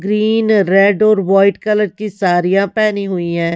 Green red और white colour की साड़ियां पहनी हुई है।